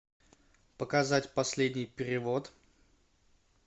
показать последний перевод